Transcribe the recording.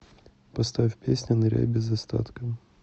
поставь песня ныряй без остатка